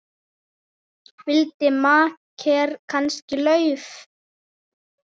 Vildi makker kannski LAUF?